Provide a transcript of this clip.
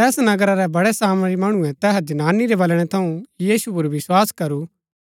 तैस नगरा रै बडै़ सामरी मणुऐ तैहा जनानी रै बलणै थऊँ यीशु पुर विस्वास करू